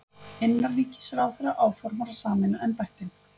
Innanríkisráðherra áformar að sameina embættin